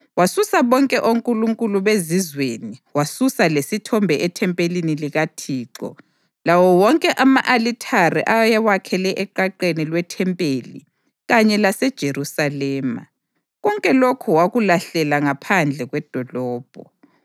Wasusa bonke onkulunkulu bezizweni wasusa lesithombe ethempelini likaThixo, lawo wonke ama-alithare ayewakhele eqaqeni lwethempeli kanye laseJerusalema; konke lokhu wakulahlela ngaphandle kwedolobho.